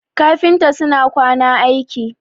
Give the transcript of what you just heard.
kafinta suna kwana aiki